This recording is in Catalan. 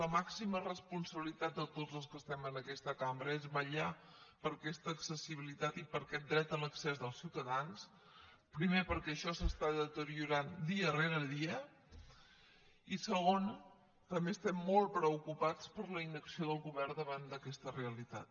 la màxima responsabilitat de tots els que estem en aquesta cambra és vetllar per aquesta accessibilitat i per aquest dret a l’accés dels ciutadans primer perquè això s’està deteriorant dia rere dia i segon també estem molt preocupats per la inacció del govern davant d’aquesta realitat